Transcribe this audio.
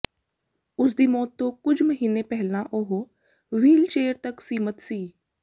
ਉਸਦੀ ਮੌਤ ਤੋਂ ਕੁਝ ਮਹੀਨੇ ਪਹਿਲਾਂ ਉਹ ਵ੍ਹੀਲਚੇਅਰ ਤੱਕ ਸੀਮਤ ਸੀ